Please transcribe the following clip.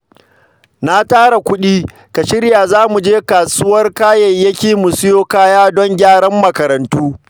Na tara kuɗi, Ka shirya zamuje kasuwar kayayyaki mu siyo kaya don gyaran makarantu.